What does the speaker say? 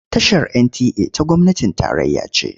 Tashar NTA ta gwamnatin tarayya ce.